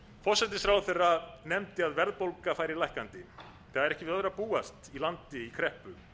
forsætisráðherra nefndi að verðbólga fari lækkandi það er ekki við öðru að búast í landi í kreppu